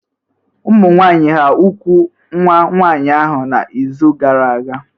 Ụmụnwaanyị hà úgwù nwa nwaanyị ahụ n’izu gara aga?